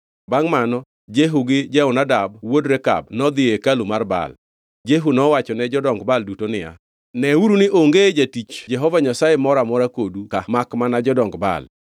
Bangʼ mano Jehu gi Jehonadab wuod Rekab nodhi ei hekalu mar Baal. Jehu nowachone jodong Baal duto niya, “Neuru ni onge jatich Jehova Nyasaye moro amora kodu ka makmana jodong Baal.”